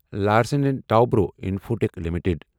Larsen and Toubro Infotech limited